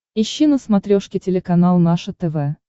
ищи на смотрешке телеканал наше тв